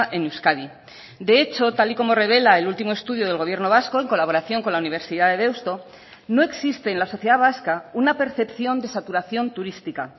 en euskadi de hecho tal y como revela el último estudio del gobierno vasco en colaboración con la universidad de deusto no existe en la sociedad vasca una percepción de saturación turística